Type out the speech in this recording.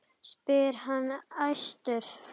spyr hann æstur.